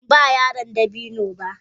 Ban ba yaran dabino ba.